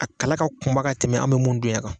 A kala ka kunba ka tɛmɛ an bɛ mun dun yan